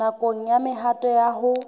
nakong ya mehato ya ho